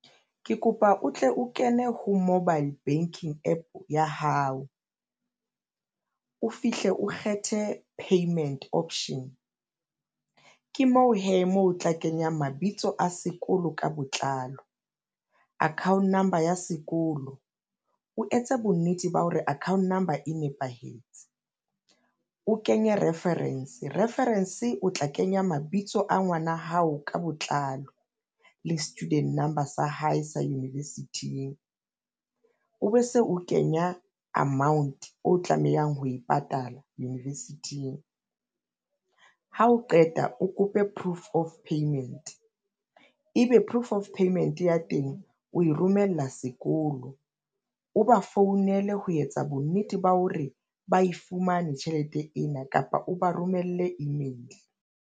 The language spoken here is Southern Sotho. Ke kopa o tle o kene ho mobile banking APP ya hao. O fihle o kgethe payment option ke mo hee moo o tla kenya mabitso a sekolo ka botlalo, account number ya sekolo. O etse bonnete ba hore account number e nepahetse, o kenye reference, reference o tla kenya mabitso a ngwana hao ka botlalo le student number sa hae sa university-ing. O be se o kenya amount o tlamehang ho e patala university-ing, ha o qeta o kope proof of payment ebe proof of payment ya teng oe romella sekolo, o ba founele ho etsa bonnete ba hore ba e fumane tjhelete ena kapa o ba romelle email.